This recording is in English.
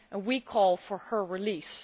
We call for her release.